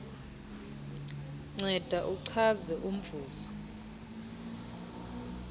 nceda uchaze umvuzo